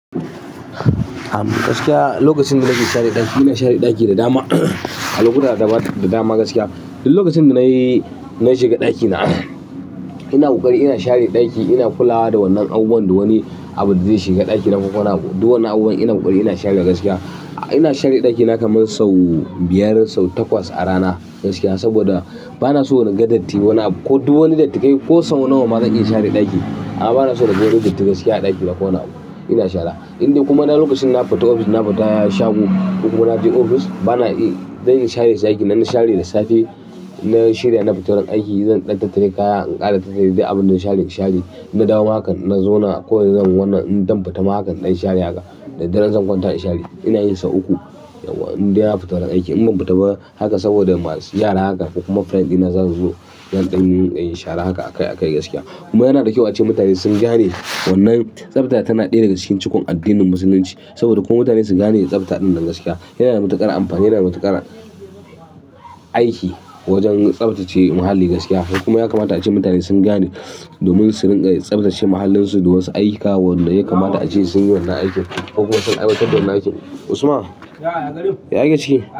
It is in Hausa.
Am, gaskiya lokacin da na ke share ɗaki, ina share ɗaki da dama. Al'amurran da dama gaskiya. Duk lokacin da dare ya yi zan shiga ɗakina, ina buƙari ina share ɗaki, ina kulawa da wannan abubuwan da wani abu da zai shiga ɗakina ko wani abu. Duk wannan abubuwan ina koƙari ina sharewa gaskiya. Ina share ɗakina kamar sau biyar, sau takwas a rana gaskiya. Saboda bana so in ga datti. Wani ko duk wani datti kai ko sau nawa ma zan iya share ɗakina. Aa bana so na ga wani datti gaskiya a ɗakina ko wani abu, ina shara. In dai kuma na lokacin na fita ofis, na fita shago ko kuma na je ofis bana iya dai in share ɗaki. Na share da safe, na shirya da na fita aiki. Zan dan tattare kaya, in ƙara tattare duk abunda zan share in share, in na dawo ma hakan in na zauna. Ko zan wannan in zan fita ma hakan in dan share haka. Da daren zan kwanta in share. Ina yi sau uku yawwa in dai na fita wurin aiki. In ban fita ba haka saboda masu yara haka kokuma friend dina zasuzo zan ɗinga yin shara haka a kai a kai gaskiya. Kuma yana da kyau ace mutane sun gane wannan tsafta tana ɗaya daga cikin cukon addinin musulunci saboda ko mutane sun gane tsafta ɗannan gaskiya. Yanada matuƙar amfani, yana da matuƙar aiki wajen tsaftace muhalli gaskiya. Kuma ya kamata ace mutane sun gane domin su rinƙa tsaftace mahallinsu da wasu aika wanda. Ya kamata ace sunyi wannan aikin kokuma sun aiwatar da wannan aiki. Usman? Ya Yagarin, ya aike ciki?